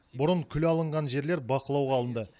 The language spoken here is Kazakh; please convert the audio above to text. бұрын күл алынған жерлер бақылауға алынды